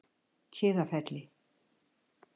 Kiðafelli